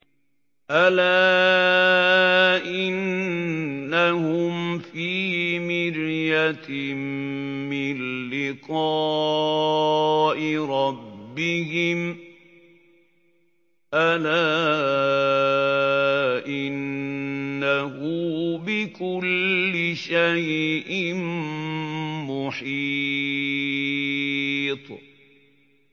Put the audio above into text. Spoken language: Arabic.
أَلَا إِنَّهُمْ فِي مِرْيَةٍ مِّن لِّقَاءِ رَبِّهِمْ ۗ أَلَا إِنَّهُ بِكُلِّ شَيْءٍ مُّحِيطٌ